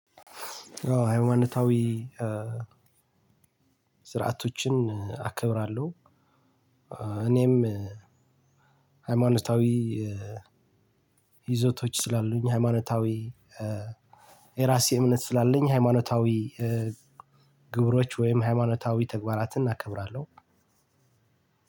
አዎ ሃይማኖታዊ ስርዓቶችን አከብራለሁ። እኔም ሃይማኖታዊ ይዘቶች ስላሉኝ ሃይማኖታዊ የራሴ እምነት ስላለኝ። ሃይማኖታዊ ግብሮች ወይም ሃይማኖታዊ ተግባራትን አከብራለሁ።